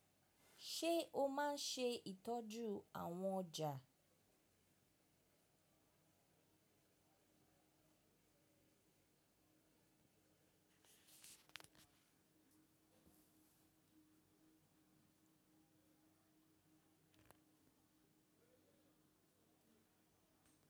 Ṣe o máa ń ṣe ìtọ́jú àwọn ọjà?